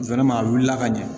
a wulila ka ɲɛ